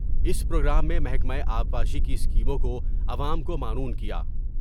اس programme میں محکمہ آبپاشی کی اسکیموں کو عوام کو معنون کیا ۔